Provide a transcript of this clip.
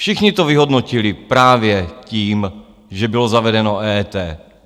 Všichni to vyhodnotili právě tím, že bylo zavedeno EET.